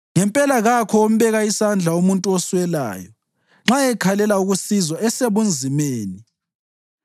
Ngempela kakho ombeka isandla umuntu oswelayo nxa ekhalela ukusizwa esebunzimeni.